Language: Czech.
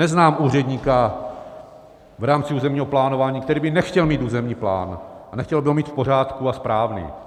Neznám úředníka v rámci územního plánování, který by nechtěl mít územní plán a nechtěl by ho mít v pořádku a správný.